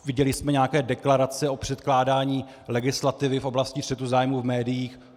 Viděli jsme nějaké deklarace o předkládání legislativy v oblasti střetu zájmů v médiích.